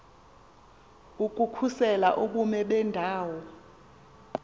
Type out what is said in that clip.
ukukhusela ubume bendawo